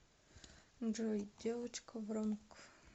джой девочка вронг